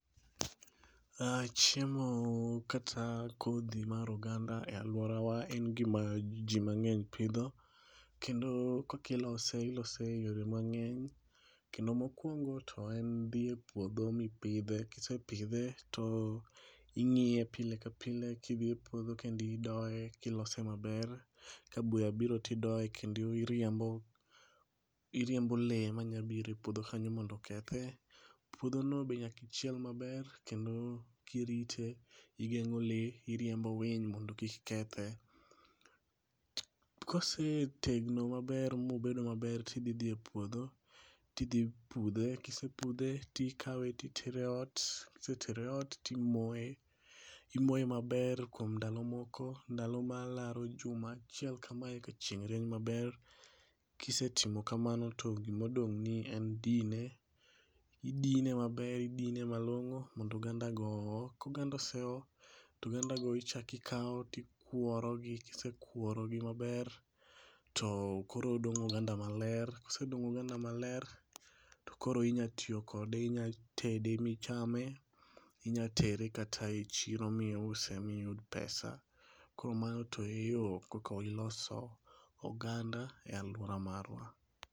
Chiemo kata kodhi mar oganda e aluora wa en gima jii mang'eny pidho kendo kaka ilose, ilose e yore mang'eny kendo mokuongo to en dhi e puodho mipidhe kisepidhe to ingiye pile ka pile kidhiye puodho kendo idoye kilose maber. Ka buya biro tidoye kendo iriembo lee manya biro e puodho kanyo mondo okethe ,puodho no be nyaka ichiel maber kendo kirite, iriembo lee, iriembo winy mondo mi kik kethe, Kosetegno maber mobedo maber tidho dhi e puodho tidhi pudhe, kisepudhe tikawe tietere ot, kisetere ot timoye, imoye maber kuom ndalo moko, ndalo malaro juma achiel ka chieng' rieny maber. Kisetimo kamano to gima odong' ni en dine, idine maber, idine malongo mondo oganda go oo, ka oganda go oseo, to oganda go ichak ikao tokuoro gi, kisekuoro gi maber to koro odong' oganda maler, kosedong ognda maler to koro inyalo tiyo kode, inyalo tede michame, inyalo tere kata e chiro miuse miyud pesa. Koro mano to e yoo koko iloso oganda e aluora marwa